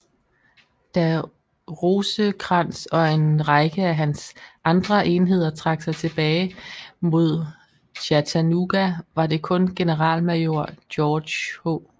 Da Rosecrans og en række af hans andre enheder trak sig tilbage mod Chattanooga var det kun generalmajor George H